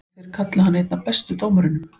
Og þeir kalla hann einn af bestu dómurunum?